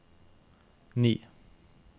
ni